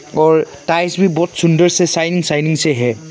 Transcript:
और टाइल्स भी बहुत सुंदर से साइन साइन से है।